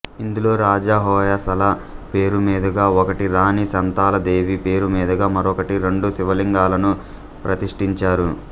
ఇందులో రాజా హోయసల పేరు మీదుగా ఒకటి రాణి శాంతలదేవి పేరు మీదుగా మరొకటి రెండు శివలింగాలను ప్రతిస్ఠించారు